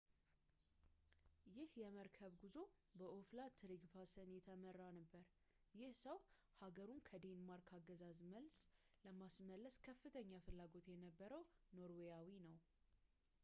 ይህ የመርከብ ጉዞ በኦላፍ ትሬግቫሰን የተመራ ነበር ይህ ሰው ሃገሩን ከዴንማርክ አገዛዝ መልሶ ለማስመለስ ከፍተኛ ፍላጎት የነበረው ኖርዌያዊ ነው